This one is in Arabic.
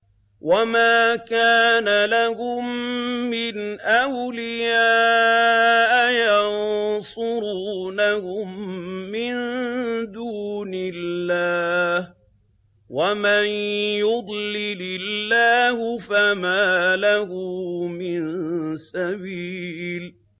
وَمَا كَانَ لَهُم مِّنْ أَوْلِيَاءَ يَنصُرُونَهُم مِّن دُونِ اللَّهِ ۗ وَمَن يُضْلِلِ اللَّهُ فَمَا لَهُ مِن سَبِيلٍ